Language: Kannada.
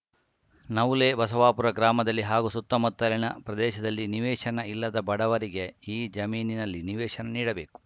ನವುಲೆ ಬಸವಾಪುರ ಗ್ರಾಮದಲ್ಲಿ ಹಾಗೂ ಸುತ್ತಮುತ್ತಲಿನ ಪ್ರದೇಶದಲ್ಲಿ ನಿವೇಶನ ಇಲ್ಲದ ಬಡವರಿಗೆ ಈ ಜಮೀನಿನಲ್ಲಿ ನಿವೇಶನ ನೀಡಬೇಕು